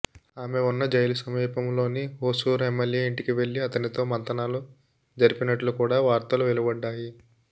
ఆమె వున్న జైలు సమీపంలోని హోసూర్ ఎమ్మెల్యే ఇంటికి వెళ్లి అతనితో మంతనాలు జరిపినట్లు కూడా వార్తలు వెలువడ్డాయి